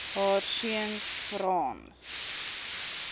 haar seuns frans